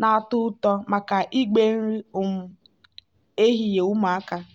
na-atọ ụtọ maka igbe nri um ehihie ụmụaka.